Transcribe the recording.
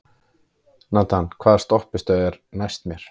Nathan, hvaða stoppistöð er næst mér?